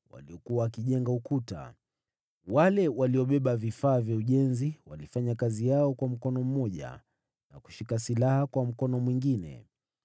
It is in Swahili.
waliokuwa wakijenga ukuta. Wale waliobeba vifaa vya ujenzi walifanya kazi yao kwa mkono mmoja, na kushika silaha kwa mkono mwingine,